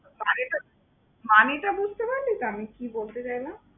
মানেটা মানেটা বুঝতে পারলি তো আমি কি বলতে চাইলাম?